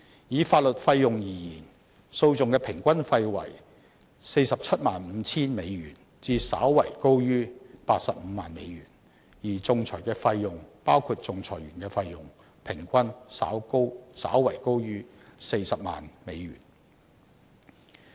以法律費用而言，訴訟的平均費用為 475,000 美元至稍為高於 850,000 美元，而仲裁的費用，平均稍為高於 400,000 美元。